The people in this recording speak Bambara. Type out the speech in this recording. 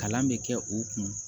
Kalan bɛ kɛ u kun